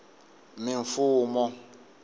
mimfumo